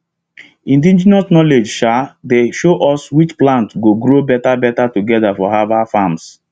indigenous knowledge um dey show us which plants go grow better better together for herbal farms